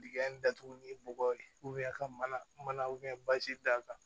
Dingɛ in datugu ni bɔgɔ ye ka mana bazi da kan